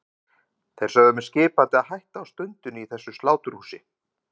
Þeir sögðu mér skipandi að hætta á stundinni í þessu sláturhúsi.